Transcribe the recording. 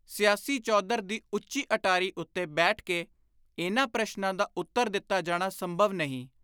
ਸਿਆਸੀ ਚੌਧਰ ਦੀ ਉੱਚੀ ਅਟਾਰੀ ਉੱਤੇ ਬੈਠ ਕੇ ਇਨ੍ਹਾਂ ਪ੍ਰਸ਼ਨਾਂ ਦਾ ਉੱਤਰ ਦਿੱਤਾ ਜਾਣਾ ਸੰਭਵ ਨਹੀਂ।